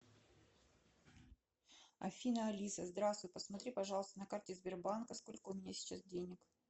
афина алиса здравствуй посмотри пожалуйста на карте сбербанка сколько у меня сейчас денег